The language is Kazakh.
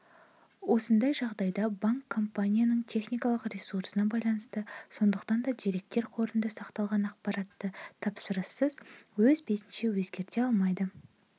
осындай жағдайда банк компанияның техникалық ресурсына байланысты сондықтан да деректер қорында сақталған ақпаратты тапсырыссыз өз бетінше өзгерте алмайды